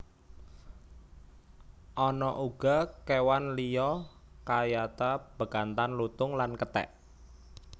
Ana uga kewan liya kayata bekantan lutung lan kethek